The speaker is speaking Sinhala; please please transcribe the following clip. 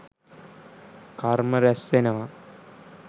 කර්ම රැස්වෙනවා..